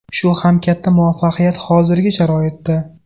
Shu ham katta muvaffaqiyat hozirgi sharoitda.